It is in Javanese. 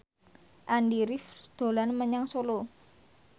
Andy rif dolan menyang Solo